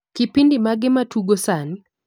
Kipindi mage matugo sani